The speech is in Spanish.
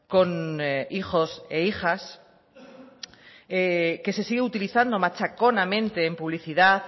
con hijos e hijas que se sigue utilizando machaconamente en publicidad